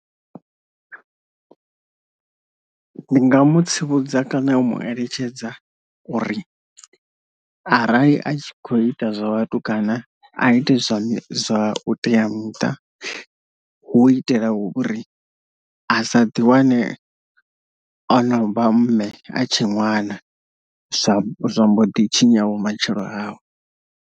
Ndi nga mu tsivhudza kana u mu eletshedza uri arali a tshi kho ita zwa vhatukana a ite zwa mi zwa u teamuṱa, hu u itela uri a sa ḓi wane ono vha mme a tshe ṅwana zwa zwa mbo ḓi tshinya vhumatshelo hawe.